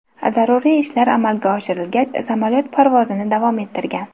Zaruriy ishlar amalga oshirilgach, samolyot parvozini davom ettirgan.